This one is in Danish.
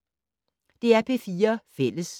DR P4 Fælles